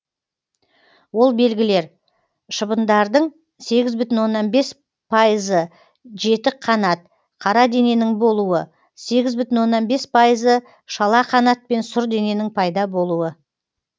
ол белгілер шыбындардың сегіз бүтін оннан бес пайызы жетік қанат қара дененің болуы сегіз бүтін оннан бес пайызы шала қанат пен сұр дененің пайда болуы